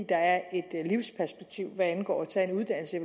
der er et livsperspektiv hvad angår at tage en uddannelse